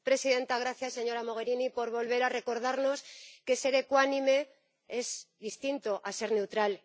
Señora presidenta, gracias señora Mogherini por volver a recordarnos que ser ecuánime es distinto de ser neutral.